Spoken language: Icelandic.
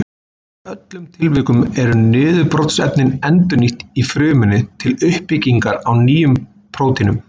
Í öllum tilvikum eru niðurbrotsefnin endurnýtt í frumunni til uppbyggingar á nýjum prótínum.